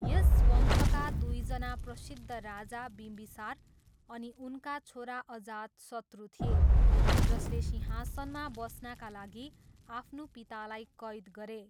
यस वंशका दुईजना प्रसिद्ध राजा बिम्बीसार अनि उनका छोरा अजातशत्रु थिए, जसले सिंहासनमा बस्नाका लागि आफ्नो पितालाई कैद गरे।